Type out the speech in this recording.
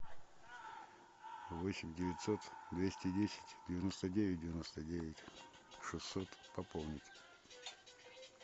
восемь девятьсот двести десять девяносто девять девяносто девять шестьсот пополнить